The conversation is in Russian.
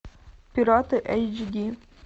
пираты эйч ди